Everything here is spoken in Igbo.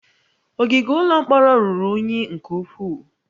Ogige ụlọ mkpọrọ ruru unyi nke ukwuu